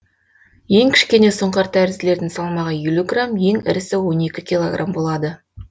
ең кішкене сұңқартәрізділердің салмағы елу грамм ең ірісі он екі килограмм болады